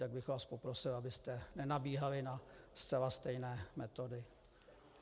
Tak bych vás poprosil, abyste nenabíhali na zcela stejné metody.